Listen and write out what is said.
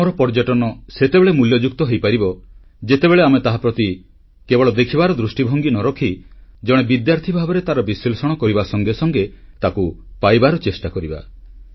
ଆମର ପର୍ଯ୍ୟଟନ ସେତେବେଳେ ମୂଲ୍ୟଯୁକ୍ତ ହୋଇପାରିବ ଯେତେବେଳେ ଆମେ ତାହାପ୍ରତି କେବଳ ଦେଖିବାର ଦୃଷ୍ଟିଭଙ୍ଗୀ ନ ରଖି ଜଣେ ବିଦ୍ୟାର୍ଥୀ ଭାବରେ ତାର ବିଶ୍ଲେଷଣ କରିବା ସଙ୍ଗେ ସଙ୍ଗେ ତାକୁ ପାଇବାକୁ ଚେଷ୍ଟା କରିବା